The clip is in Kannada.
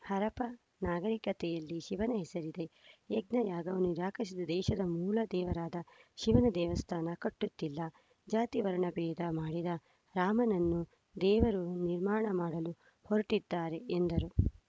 ಹರಪ್ಪ ನಾಗರಿಕತೆಯಲ್ಲೇ ಶಿವನ ಹೆಸರಿದೆ ಯಜ್ಞ ಯಾಗವನ್ನು ನಿರಾಕರಿಸಿದ ದೇಶದ ಮೂಲ ದೇವರಾದ ಶಿವನ ದೇವಸ್ಥಾನ ಕಟ್ಟುತ್ತಿಲ್ಲ ಜಾತಿ ವರ್ಣಭೇದ ಮಾಡಿದ ರಾಮನನ್ನು ದೇವರು ನಿರ್ಮಾಣ ಮಾಡಲು ಹೊರಟಿದ್ದಾರೆ ಎಂದರು